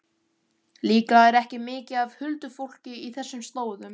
Líklega er ekki mikið af huldufólki á þessum slóðum.